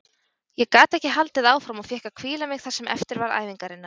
Ég gat ekki haldið áfram og fékk að hvíla mig það sem eftir var æfingarinnar.